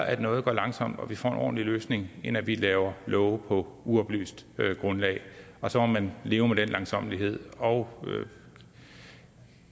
at noget går langsomt og vi får en ordentlig løsning end at vi laver love på uoplyst grundlag og så må man leve med den langsommelighed og